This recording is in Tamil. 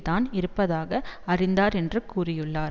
தான் இருப்பதாக அறிந்தார் என்று கூறியுள்ளார்